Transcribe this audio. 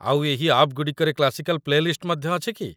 ଆଉ ଏହି ଆପ୍‌ଗୁଡ଼ିକରେ କ୍ଲାସିକାଲ ପ୍ଲେଲିଷ୍ଟ ମଧ୍ୟ ଅଛି କି?